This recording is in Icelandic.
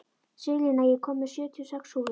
Selina, ég kom með sjötíu og sex húfur!